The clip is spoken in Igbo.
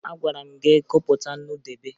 Agwara m gị gụpụta nnu debe!